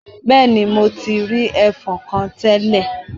Bẹẹni, Mo ti rii ẹfọ̀n kan tẹlẹ.